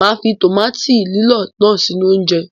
Màá fi tòmáàtì lílọ̀ náà sínú oúnjẹ.